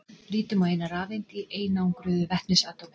Lítum á eina rafeind í einangruðu vetnisatómi.